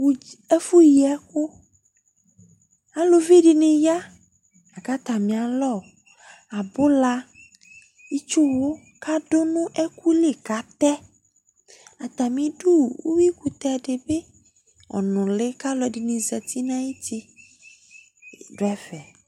́ɛfu yiɛku aluvi dini ya laka tamialɔ abula itsu wu ka du ni ɛkuli katɛ atamidu uwui kutɛ di bi ɔnuli ka ɛluɛ dini zati na yu ti du ɛfɛ